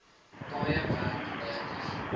paaie werk negatief